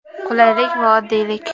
Qulaylik va oddiylik.